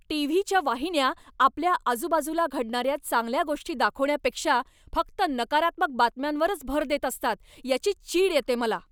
टी.व्ही.च्या वाहिन्या आपल्या आजूबाजूला घडणाऱ्या चांगल्या गोष्टी दाखवण्यापेक्षा फक्त नकारात्मक बातम्यांवरच भर देत असतात याची चीड येते मला.